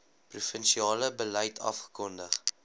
provinsiale beleid afgekondig